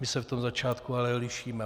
My se v tom začátku ale lišíme.